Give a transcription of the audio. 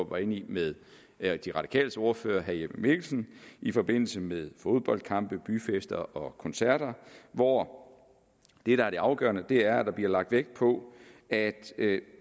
var inde i med de radikales ordfører herre jeppe mikkelsen i forbindelse med fodboldkampe byfester og koncerter hvor det afgørende er at der bliver lagt vægt på at